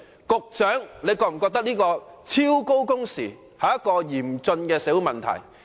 局長你是否認為此一超高工時，是一個嚴峻的社會問題？